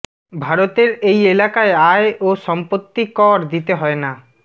ভারতের এই এলাকায় আয় ও সম্পত্তি কর দিতে হয় না